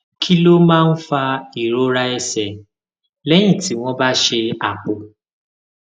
kí ló máa ń fa ìrora ẹsè léyìn tí wón bá ṣe àpò